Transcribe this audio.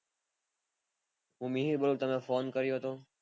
હું મિહિર બોલું, તમે phone કર્યો હતો